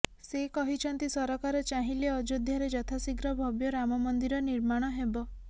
ସେ କହିଛନ୍ତି ସରକାର ଚାହିଁଲେ ଅଯୋଧ୍ୟାରେ ଯଥାଶୀଘ୍ର ଭବ୍ୟ ରାମ ମନ୍ଦିର ନିର୍ମାଣ ହେବ